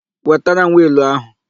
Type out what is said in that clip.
Wetara m wịịlụ áhụ̀!